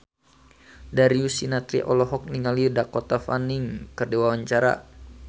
Darius Sinathrya olohok ningali Dakota Fanning keur diwawancara